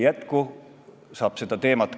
Et see ikkagi juhtuks, selleks tulebki rakendada meetmeid.